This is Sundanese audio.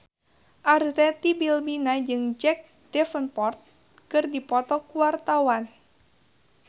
Arzetti Bilbina jeung Jack Davenport keur dipoto ku wartawan